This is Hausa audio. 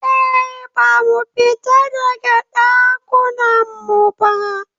Eh, Ba mu fita daga Ɗakunan mu ba